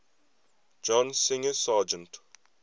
john singer sargent